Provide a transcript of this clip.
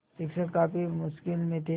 शिक्षक काफ़ी मुश्किल में थे